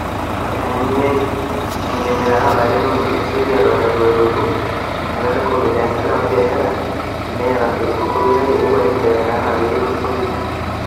Itanyanyukia enkimirate oolarin otulusoitia eton eitu elotu olmetai le Covid: "Esita apa biashara esidai eton itu elotu Covid, kake euo enkibelekenyata enaa peyie elotu Covid."